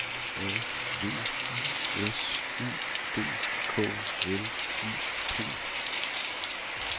A V I S U D K L I P